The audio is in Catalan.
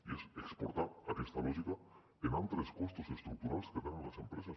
i és exportar aquesta lògica en altres costos estructurals que tenen les empreses